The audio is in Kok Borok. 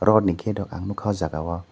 rotni gate o ang nukha oh jaga o.